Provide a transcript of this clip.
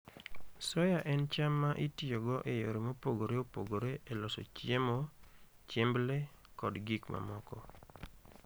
Soya en cham ma itiyogo e yore mopogore opogore e loso chiemo, chiemb le, kod gik mamoko.